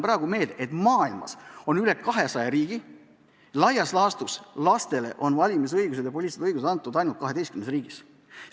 Ma tuletan meelde, et maailmas on üle 200 riigi, lastele on valimisõigus antud ainult 12 riigis.